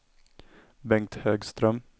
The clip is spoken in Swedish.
Bengt Högström